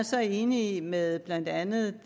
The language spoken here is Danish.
så enig med blandt andet